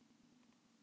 Mamma varð alveg óð.